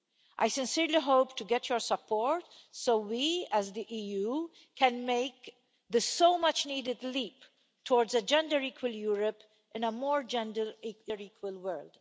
I sincerely hope to get your support so we, as the EU, can make the so much needed leap towards a gender equal Europe in a more gender equal world.